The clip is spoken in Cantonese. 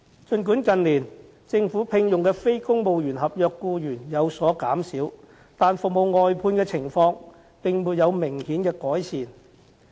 儘管近年政府聘用的非公務員合約僱員有所減少，但服務外判的情況並沒有明顯改善。